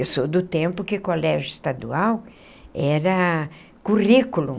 Eu sou do tempo que colégio estadual era currículo.